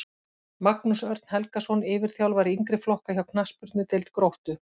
Magnús Örn Helgason yfirþjálfari yngri flokka hjá knattspyrnudeild Gróttu